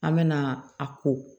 An mɛna a ko